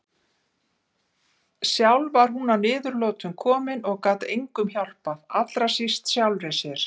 Sjálf var hún að niðurlotum komin og gat engum hjálpað, allra síst sjálfri sér.